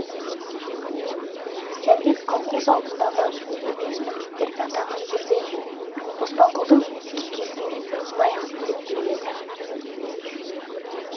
жәнібек колхоз алдындағы өз міндеттерін атаған жерде оспанқұлдың кекесінің лайықсыз деп біліп еді